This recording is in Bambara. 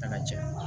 Fɛnɛ cɛ